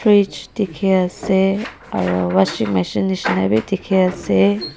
fridge dekhi ase aru washing machine jisna bhi dekhi ase.